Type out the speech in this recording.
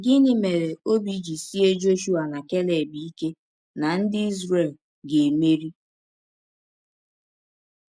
Gịnị mere ọbi ji sịe Jọshụa na Keleb ike na ndị Izrel ga - emeri?